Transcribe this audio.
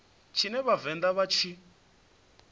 tshine vha vhavenḓa vha tshi